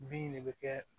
Bin de bɛ kɛ